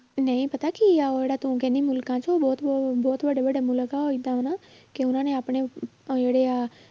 ਨਹੀਂ ਪਤਾ ਕੀ ਆ ਉਹ ਜਿਹੜਾ ਤੂੰ ਕਹਿੰਦੀ ਮੁਲਕਾਂ 'ਚ ਉਹ ਬਹੁਤ ਉਹ ਬਹੁਤ ਵੱਡੇ ਵੱਡੇ ਮੁਲਕ ਆ ਉਹ ਏਦਾਂ ਹਨਾ ਕਿ ਉਹਨਾਂ ਨੇ ਆਪਣੇ ਉਹ ਜਿਹੜੇ ਆ